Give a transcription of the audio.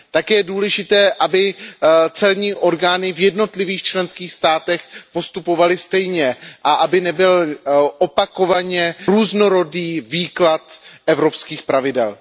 Také je důležité, aby celní orgány v jednotlivých členských státech postupovaly stejně a aby nebyl opakovaně různorodý výklad evropských pravidel.